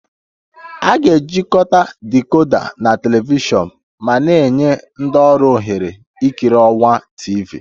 A ga-ejikọta decoder na telivishọn ma na-enye ndị ọrụ ohere ikiri ọwa TV